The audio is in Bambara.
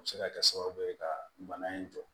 A bɛ se ka kɛ sababu ye ka bana in jɔ